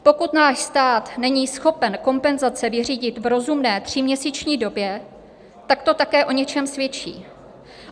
Pokud náš stát není schopen kompenzace vyřídit v rozumné tříměsíční době, tak to také o něčem svědčí.